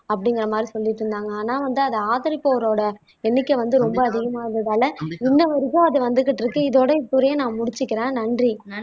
அப்படிங்கிற மாதிரி சொல்லிட்டிருந்தாங்க ஆனா வந்து அதை ஆதரிப்பவரோட எண்ணிக்கை வந்து ரொம்ப அதிகமா இருந்ததால இன்னை வரைக்கும் அது வந்துகிட்டு இருக்கு இதோட நான் முடிச்சுக்கிறேன் நன்றி